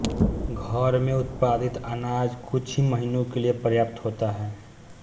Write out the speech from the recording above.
घर में उत्पादित अनाज कुछ ही महीनों के लिए पर्याप्त होता है